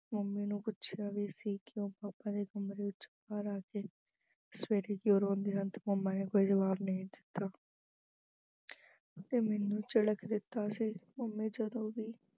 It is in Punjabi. mummy ਨੂੰ ਪੁੱਛਿਆ ਵੀ ਸੀ ਕਿ ਉਹ papa ਦੇ ਕਮਰੇ ਵਿੱਚੋਂ ਬਾਹਰ ਆ ਕੇ ਸਵੇਰੇ ਕਿਉਂ ਰੋਂਦੀ ਹੈ ਪਰ mummy ਨੇ ਕੋਈ ਜਵਾਬ ਨਹੀਂ ਦਿੱਤਾ ਤੇ ਮੈਨੂੰ ਝਿੜਕ ਦਿੱਤਾ ਸੀ। mummy ਜਦੋਂ ਵੀ